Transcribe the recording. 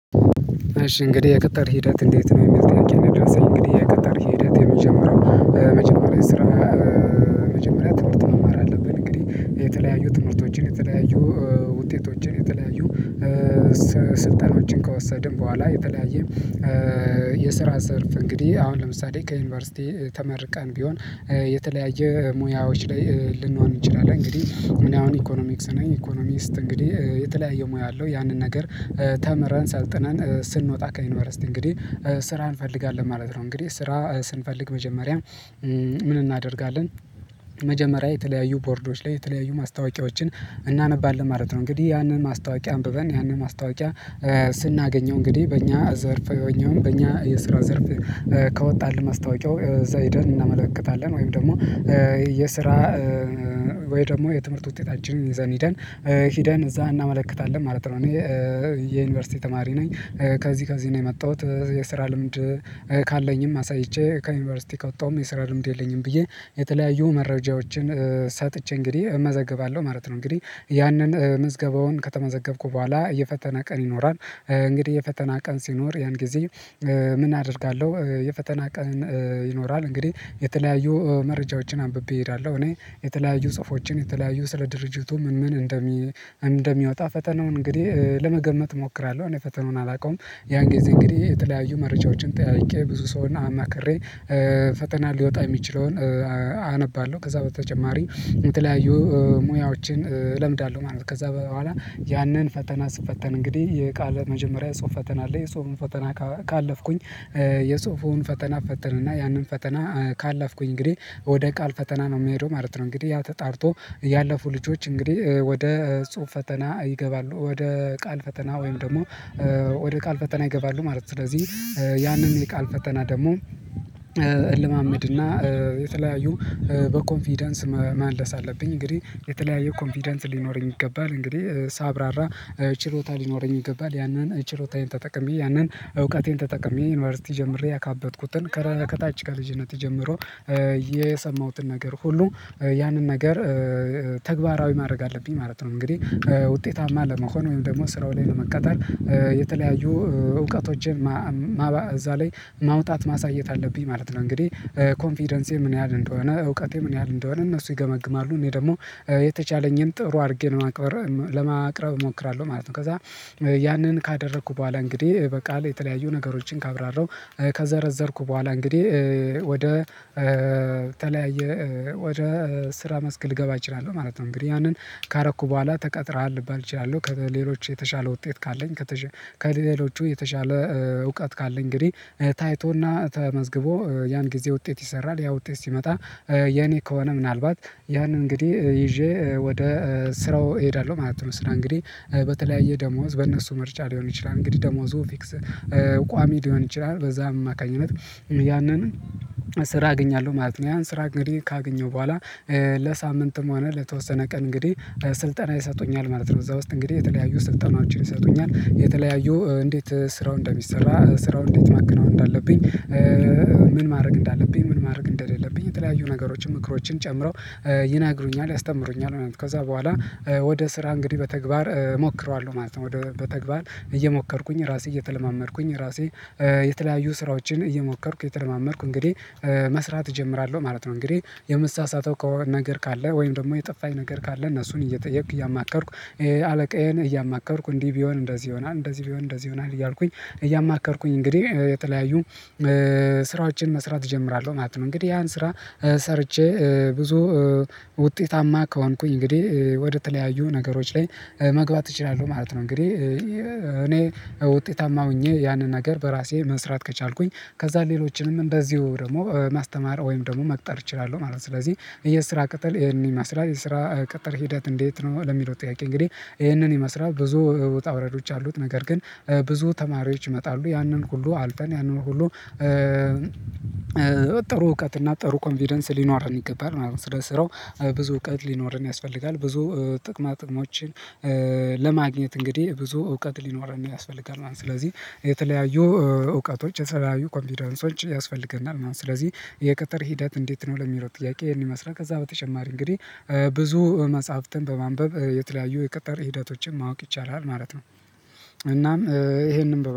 እሺ እንግዲህ የቅጥር ሂደት እንዴት ነው የሚል ጥያቄ ነው? የደረሰኝ እንግዲህ ቅጥር ሂደት የሚጀመሪያው መጀመሪያ ስራ መጀመሪያ ትምህርት መማር አለብን። እንግዲህ የተለያዩ ትምህርቶችን የተለያዩ ውጤቶችን የተለያዩ ስልጠናዎችን ከወሰድን በኋላ የተለያየ የስራ ዘርፍ እንግዲህ አሁን ለምሳሌ ከዩኒቨርሲቲ ተመርቀን ቢሆን የተለያየ ሙያዎች ላይ ልንሆን እንችላለን። እንግዲህ ምን አሁን ኢኮኖሚክስ ነኝ ኢኮኖሚስት እንግዲህ የተለያየ ሙያ አለው ያንን ነገር ተምረን ሰልጥነን ስንወጣ ከዩኒቨርስቲ እንግዲህ ስራን እንፈልጋለን ማለት ነው። እንግዲህ ስራ ስንፈልግ መጀመሪያ ምን እናደርጋለን መጀመሪያ የተለያዩ ቦርዶች ላይ የተለያዩ ማስታወቂያዎችን እናነባለን ማለት ነው። እንግዲህ ያንን ማስታወቂያ አንብበን ያንን ማስታወቂያ ስናገኘው እንግዲህ በእኛ ዘርፍ የሆነውን በእኛ የስራ ዘርፍ ከወጣልን ማስታወቂያው እዛሂደን እናመለክታለን ወይም ደግሞ የስራ ወይ ደግሞ የትምህርት ውጤታችን ይዘን ሄደን ሄደን እዛ እናመለክታለን ማለት ነው። እኔ የዩኒቨርሲቲ ተማሪ ነኝ ከዚህ ከዚህ ነው የመጣሁት የስራ ልምድ ካለኝም አሳይቼ ከዩኒቨርሲቲ ከወጣሁም የስራ ልምድ የለኝም ብዬ የተለያዩ መረጃዎችን ሰጥቼ እንግዲህ እመዘገባለሁ ማለት ነው። እንግዲህ ያንን ምዝገባውን ከተመዘገብኩ በኋላ የፈተና ቀን ይኖራል እንግዲህ የፈተና ቀን ሲኖር ያን ጊዜ ምን አደርጋለሁ? የፈተና ቀን ይኖራል እንግዲህ የተለያዩ መረጃዎችን አንብቤ እሄዳለሁ። እኔ የተለያዩ ጽሁፎችን የተለያዩ ስለ ድርጅቱ ምን ምን እንደሚ እንደሚያወጣ ፈተናውን እንግዲህ ለመገመት እሞክራለሁ እኔ ፈተናውን አላውቀውም። ያን ጊዜ እንግዲህ የተለያዩ መርጃዎችን ጠያይቄ ብዙ ሰውን አማክሬ ፈተና ሊወጣ የሚችለውን አነባለሁ ከዛ በተጨማሪ የተለያዩ ሙያዎችን እለምዳለሁ ማለት ነው። ከዛ በኋላ ያንን ፈተና ስፈተን እንግዲህ የቃል መጀመሪያ ጽሁፍ ፈተና አለ የጽሁፉን ፈተና ካለፍኩኝ የጽሁፉን ፈተና እፈተንና ያንን ፈተና ካለፍኩኝ እንግዲህ ወደ ቃል ፈተና ነው የምሄደው ማለት ነው። እንግዲህ ያ ተጣርቶ ያለፉ ልጆች እንግዲህ ወደ ጽሁፍ ፈተና ይገባሉ ወደ ቃል ፈተና ወይም ደግሞ ወደ ቃል ፈተና ይገባሉ ማለት ነው። ስለዚህ ያንን የቃል ፈተና ደግሞ እልማመድ እና የተለያዩ በኮንፊደንስ መመለስ አለብኝ እንግዲህ የተለያየ ኮንፊደንስ ሊኖረኝ ይገባል እንግዲህ ሳብራራ ችሎታ ሊኖረኝ ይገባል ያንን ችሎታዬን ተጠቅሜ ያንን እውቀቴን ተጠቅሜ ዩኒቨርሲቲ ጀምሬ ያካበትኩትን ከታች ከልጅነት ጀምሮ የሰማሁትን ነገር ሁሉ ያንን ነገር ተግባራዊ ማድረግ አለብኝ ማለት ነው። እንግዲህ ውጤታማ ለመሆን ወይም ደግሞ ስራው ላይ ለመቀጠር የተለያዩ እውቀቶችን እዛ ላይ ማውጣት ማሳየት አለብኝ ማለት ነው። እንግዲህ ኮንፊደንሴ ምን ያህል እንደሆነ እውቀቴ ምን ያህል እንደሆነ እነሱ ይገመግማሉ እኔ ደግሞ የተቻለኝን ጥሩ አድርጌ ነው ለማቅረብ እሞክራለሁ ማለት ነው። ከዛ ያንን ካደረኩ በኋላ እንግዲህ በቃል የተለያዩ ነገሮችን ካብራራው ከዘረዘርኩ በኋላ እንግዲህ ወደ ተለያየ ወደ ስራ መስክ ልገባ እችላለሁ ማለት ነው። እንግዲህ ያንን ካረኩ በኋላ ተቀጥረሃል ልባል እችላለሁ ከሌሎች የተሻለ ውጤት ካለኝ ከሌሎቹ የተሻለ እውቀት ካለኝ እንግዲህ ታይቶና ተመዝግቦ ያን ጊዜ ውጤት ይሰራል ያ ውጤት ሲመጣ የኔ ከሆነ ምናልባት ያን እንግዲህ ይዤ ወደ ስራው እሄዳለሁ ማለት ነው። ስራ እንግዲህ በተለያየ ደሞዝ በእነሱ ምርጫ ሊሆን ይችላል እንግዲህ ደሞዙ ፊክስ ቋሚ ሊሆን ይችላል በዛ አማካኝነት ያንን ስራ አገኛለሁ ማለት ነው። ያን ስራ እንግዲህ ካገኘው በኋላ ለሳምንትም ሆነ ለተወሰነ ቀን እንግዲህ ስልጠና ይሰጡኛል ማለት ነው። እዛ ውስጥ እንግዲህ የተለያዩ ስልጠናዎችን ይሰጡኛል የተለያዩ እንዴት ስራው እንደሚሰራ ስራው እንዴት ማክናው እንዳለብኝ ምን ማድረግ እንዳለብኝ ምን ማድረግ እንደሌለብኝ የተለያዩ ነገሮችን ምክሮችን ጨምረው ይነገሩኛል ያስተምሩኛል ከዛ በኋላ ወደ ስራ እንግዲህ በተግባር እሞክረዋለሁ ማለት ነው ወደ በተግባር እየሞከርኩኝ ራሴ እየተለማመድኩኝ ራሴ የተለያዩ ስራዎችን እየሞከርኩ የተለማመድኩ እንግዲህ መስራት እጀምራለሁ ማለት ነው። እንግዲህ የመሳሳተው ከሆነ ነገር ካለ ወይም ደግሞ የጠፋኝ ነገር ካለ እነሱን እየጠየኩ እያማከርኩ አለቃዬን እያማከርኩ እንዲህ ቢሆን እንደዚህ ይሆናል እንደዚህ ቢሆን እንደዚህ ይሆናል እያልኩኝ እያማከርኩኝ እንግዲህ የተለያዩ ስራዎችን መስራት እጀምራለሁ ማለት ነው። እንግዲህ ያን ስራ ሰርቼ ብዙ ውጤታማ ከሆንኩኝ እንግዲህ ወደተለያዩ ነገሮች ላይ መግባት እችላለሁ ማለት ነው። እንግዲህ እኔ ውጤታማ ሆኜ ያንን ነገር በራሴ መስራት ከቻልኩኝ ከዛ ሌሎችንም በዚሁ ደግሞ ማስተማር ወይም ደግሞ መቅጠር እችላለሁ ማለት ነው። ስለዚህ የስራ ቅጠር ይሄን ይመስላል የስራ ቅጠር ሂደት እንዴት ነው ለሚለው ጥያቄ? እንግዲህ ይህንን የመስራት ብዙ ወጣ ውረዶች አሉት ነገር ግን ብዙ ተማሪዎች ይመጣሉ ያንን ሁሉ አልፈን ያንን ሁሉ ጥሩ እውቀት እና ጥሩ ኮንቪደንስ ሊኖር ይገባል ምናምን ስለ ስራው ብዙ እውቀት ሊኖርን ያስፈልጋል ብዙ ጥቅማ ጥቅሞችን ለማግኘት እንግዲህ ብዙ እውቀት ሊኖረን ያስፈልጋል ማለት ነው። ስለዚህ የተለያዩ እውቀቶች የተለያዩ ኮንቪደንሶች ያስፈልገናል ማለት ነው። ስለዚህ የቅጥር ሂደት እንዴት ነው ለሚለው ጥያቄ? ይሄን ይመስላል ከዛ በተጨማሪ እንግዲህ ብዙ መጽሐፍትን በማንበብ የተለያዩ የቅጥር ሂደቶችን ማወቅ ይቻላል ማለት ነው። እናም ይሄንን